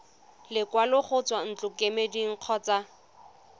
lekwalo go tswa ntlokemeding kgotsa